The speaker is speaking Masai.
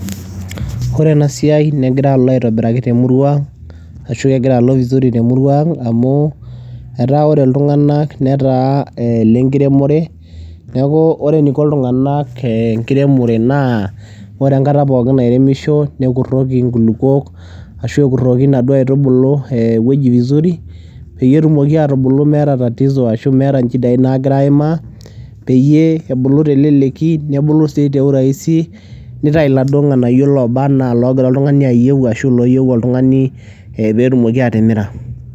Ore ena siai negira alo aitobiraki temurua ang ashu kegira alo vizuri te murua ang amu etaa ore iltunganak netaa ile nkiremore , niaku ore eniko iltunganak enkiremore naa ore enkata pookin nairemisho , nekuroki inkulukuok ashu ekuroki inaduoo aitubulu e ewueji vizuri peyie etumoki atubulu meeta tatizo ashu meeta nchidai naagira aimaa peyie ebulu teleleki , nebulu si te uraisi , nitau iladuo nganayio lobaa anaa ilogira oltungani ayieu ashu ilooyieu oltungani e petumoki atimira.